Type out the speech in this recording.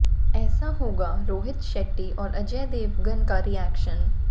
ऐसा होगा रोहित शेट्टी और अजय देवगन का रिएक्शन